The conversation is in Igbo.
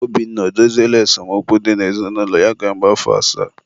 Obinna edoziela esemokwu dị n'ezinụlọ ya ka mgbe afọ asaa?